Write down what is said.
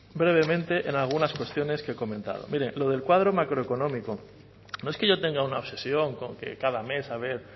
brevemente en algunas cuestiones que he comentado miren lo del cuadro macroeconómico nos es que yo tenga una obsesión con que cada mes a ver